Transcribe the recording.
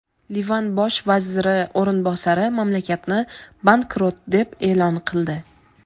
Livan bosh vaziri o‘rinbosari mamlakatni bankrot deb e’lon qildi.